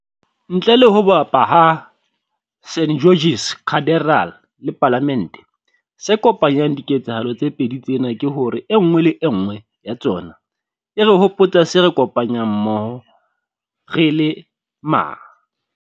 Ntle le ho bapa ha St George's Cathedral le Palamente, se kopanyang diketsahalo tse pedi tsena ke hore e nngwe le e nngwe ya tsona e re hopotsa se re kopanyang mmoho re le ma.